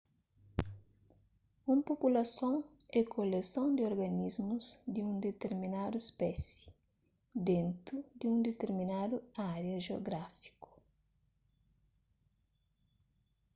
un populason é koleson di organismus di un ditirminadu spési dentu di un ditirminadu ária jiográfiku